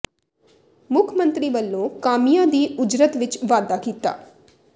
ਮੁੱਖ ਮੰਤਰੀ ਵੱਲੋਂ ਕਾਮਿਆਂ ਦੀ ਉਜਰਤ ਵਿਚ ਵਾਧਾ ਕੀਤਾ